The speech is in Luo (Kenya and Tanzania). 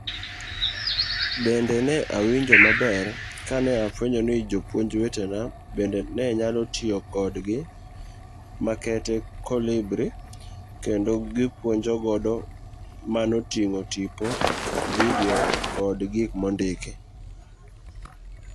Bende ne awinjo maber kane afuenyo ni jopuonj wetena bende ne nyalo tiyo kod gik makete Kolibri kendo gipuonjo godo manoting'o tipo, video kod gik mondiki.